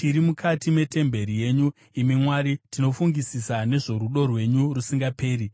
Tiri mukati metemberi yenyu, imi Mwari, tinofungisisa nezvorudo rwenyu rusingaperi.